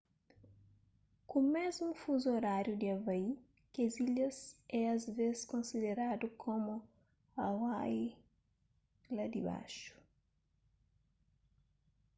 ku mésmu fuzu oráriu di havai kes ilhas é asvês konsideradu komu hawaii la dibaxu